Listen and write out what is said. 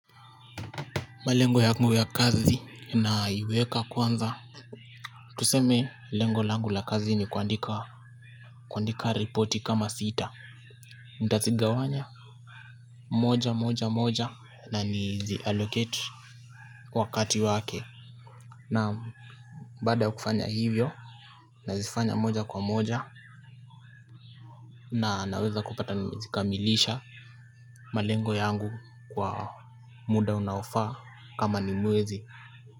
Malengo yangu ya kazi naiweka kwanza. Tuseme lengo langu la kazi ni kuandika, kuandika ripoti kama sita, nitazigawanya moja moja moja na niziallocate wakati wake. Naam, baada ya kufanya hivyo. Nazifanya moja kwa moja na naweza kupata nimezikamilisha malengo yangu kwa muda unaofaa kama ni mwezi.